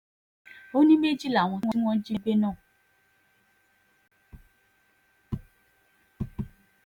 ó ní méjì làwọn tí wọ́n jí gbé náà